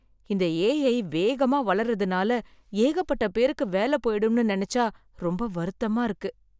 இந்த ஏஐ வேகமா வளர்றதுனால ஏகப்பட்ட பேருக்கு வேல போயிடும்னு நெனச்சா ரொம்ப வருத்தமா இருக்கு.